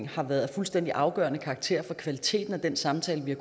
har været af fuldstændig afgørende karakter for kvaliteten af den samtale vi